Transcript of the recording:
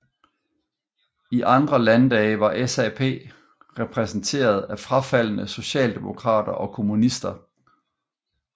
I andre landdage var SAP repræsenteret af frafaldne socialdemokrater og kommunister